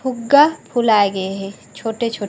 फुग्गा फुलाए गए हे छोटे-छोटे--